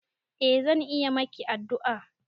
Eh zan iya maki addu'a.